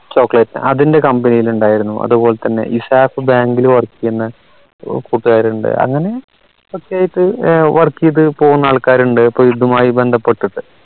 chocolate അതിൻറെ company ൽ ഇണ്ടായിരുന്നു അതുപോലെ തന്നെ ഇസാഫ് bank ൽ work യ്യുന്ന കൂട്ടുകാരുണ്ട് അങ്ങനെ work എയ്ത് പോകുന്ന ആൾക്കാരുണ്ട് ഇപ്പോ ഇതുമായി ബന്ധപ്പെട്ടിട്ട്